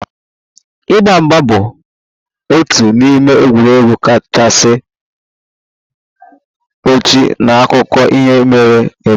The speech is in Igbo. Ịgba mgba bụ otu n'ime egwuregwu kachasị ochie n'akụkọ ihe mere eme